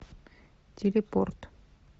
телепорт